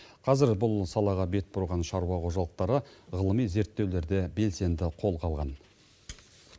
қазір бұл салаға бет бұрған шаруа қожалықтары ғылыми зерттеулерді белсенді қолға алған